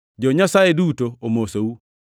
Jo-Nyasaye duto omosou.